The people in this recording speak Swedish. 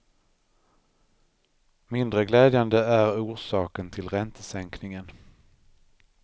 Mindre glädjande är orsaken till räntesänkningen.